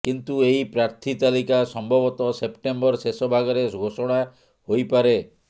କିନ୍ତୁ ଏହି ପ୍ରାର୍ଥୀ ତାଲିକା ସମ୍ଭବତଃ ସେପ୍ଟେମ୍ବର ଶେଷ ଭାଗରେ ଘୋଷଣା ହୋଇପାରେ